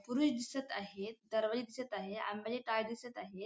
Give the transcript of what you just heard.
पुरुष दिसत आहेत दरवाजा दिसत आहे आंब्याचे टाळ दिसत आहे.